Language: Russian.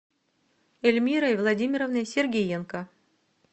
эльмирой владимировной сергиенко